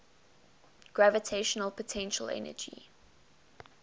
gravitational potential energy